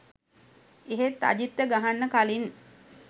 එහෙත් අජිත්ට ගහන්න කළින්